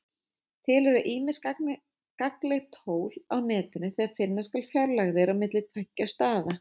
Til eru ýmis gagnleg tól á Netinu þegar finna skal fjarlægðir á milli tveggja staða.